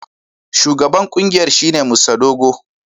Shugaban kungiyar shine Mr Dogo.